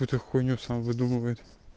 какую-то хуйню сам выдумывает